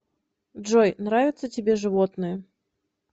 джой нравится тебе животные